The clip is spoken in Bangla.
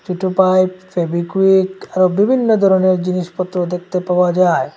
দুটো পাইপ ফেবিকুইক আরও বিভিন্ন ধরনের জিনিসপত্র দেখতে পাওয়া যায়।